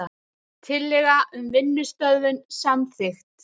Tillaga um vinnustöðvun samþykkt